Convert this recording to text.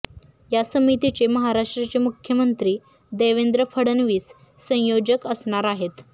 या समितीचे महाराष्ट्राचे मुख्यमंत्री देवेंद्र फडणवीस संयोजक असणार आहेत